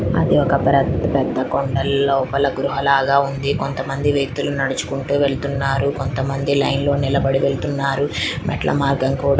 అది ఒక పెద్ద పెద్ద కొండల్లో లోపల గృహలాగ ఉంది కొంతమంది వ్యక్తులు నడుచుకుంటూ వెళ్తున్నారు కొంతమంది లైన్ లో నిలబడి వెళ్తున్నారు మెట్లమార్గం కూడ --